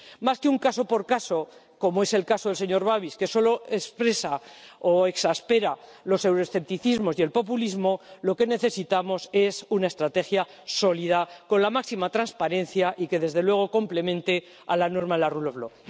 Más que un caso por caso, como es el caso del señor Babiš, que solo exaspera los euroescepticismos y el populismo, lo que necesitamos es una estrategia sólida con la máxima transparencia y que desde luego complemente la norma del Estado de Derecho.